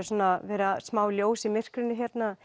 verið smá ljós í myrkrinu